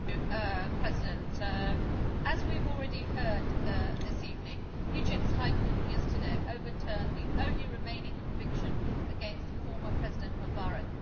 Mr President, as we have already heard this evening, Egypt's High Court yesterday overturned the only remaining conviction against the former President Mubarak.